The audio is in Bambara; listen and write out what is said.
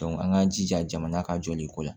an k'an jija jamana ka jɔliko la